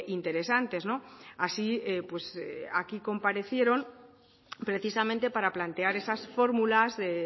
interesantes no así pues aquí comparecieron precisamente para plantear esas fórmulas de